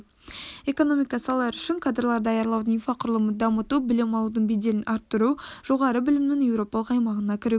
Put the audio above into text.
экономика салалары үшін кадрлар даярлаудың инфрақұрылымын дамыту білім алудың беделін арттыру жоғары білімнің еуропалық аймағына кірігуді